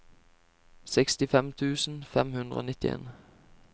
sekstifem tusen fem hundre og nittien